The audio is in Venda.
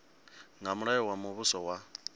nga mulayo wa muvhuso wa